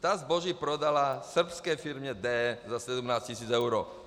Ta zboží prodala srbské firmě D za 17 tis. eur.